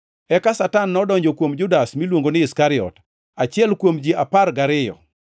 Eka Satan nodonjo kuom Judas, miluongo ni Iskariot, achiel kuom ji apar gariyo.